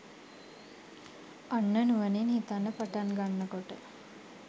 අන්න නුවණින් හිතන්න පටන් ගන්න කොට